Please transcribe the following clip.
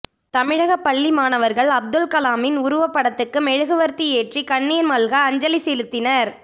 தமிழக பள்ளி மாணவர்கள் அப்துல் கலாமின் உருவப்படத்துக்கு மெழுகுவர்த்தி ஏற்றி கண்ணீர் மல்க அஞ்சலி செலுத்தினர்